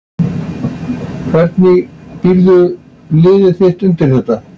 Hvernig býrðu liðið þitt undir þetta?